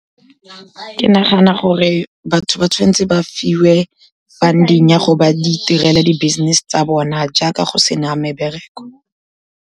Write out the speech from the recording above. Ke nagana gore batho ba tshwan'tse ba fiwe funding ya gore ba di itirele di business-e tsa bona, jaaka go sena mebereko.